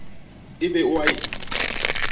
e be o a e